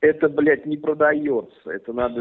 это блять не продаётся это надо